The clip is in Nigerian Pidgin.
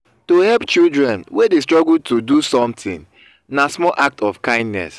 to help children wey de struggle to do something na small act of kindness